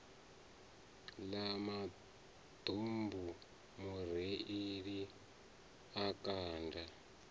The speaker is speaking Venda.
ḽa maḓumbu mureiḽi a kanda